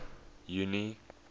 junie